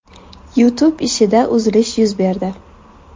YouTube ishida uzilish yuz berdi.